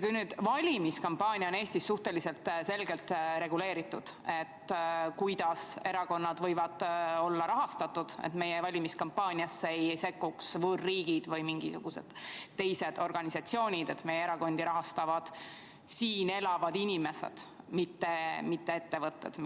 Kui valimiskampaania on Eestis suhteliselt selgelt reguleeritud, see, kuidas erakonnad võivad olla rahastatud, et meie valimiskampaaniasse ei sekkuks võõrriigid või mingisugused teised organisatsioonid, et meie erakondi rahastaksid siin elavad inimesed, mitte ettevõtted,